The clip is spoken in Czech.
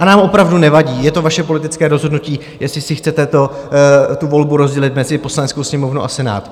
A nám opravdu nevadí, je to vaše politické rozhodnutí, jestli si chcete tu volbu rozdělit mezi Poslaneckou sněmovnu a Senát.